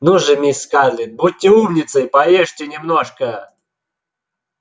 ну же мисс скарлетт будьте умницей поешьте немножко